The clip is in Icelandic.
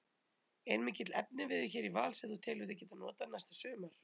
Er mikill efniviður hér í Val sem þú telur þig geta notað næsta sumar?